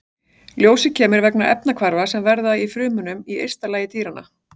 Ljósið kemur vegna efnahvarfa sem verða í frumum á ysta lagi dýranna.